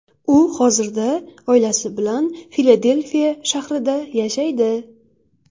U hozirda oilasi bilan Filadelfiya shahrida yashaydi.